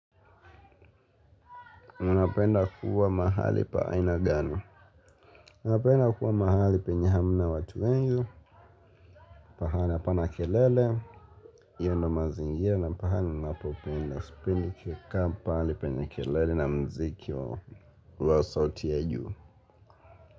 Unapenda kuwa mahali pa aina gani? Napenda kuwa mahali penye hamna watu wengi. Pahali hapana kelele yenye mazingia na pahali ninapopenda. Sipendi kukaa pale penye kelele na mziki wa sauti ya juu.